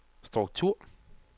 struktur